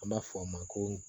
An b'a fɔ a ma ko